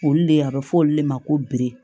Olu le a be fɔ olu de ma ko